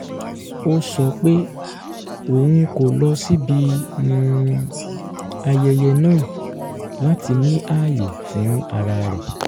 ó sọ pé òun kò lọ síbi um ayẹyẹ náà láti ní ààyè fún ara rẹ̀